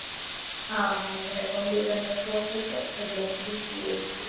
હા, મને computer નો શોખ હતો એટલે મેં BCA લીધું.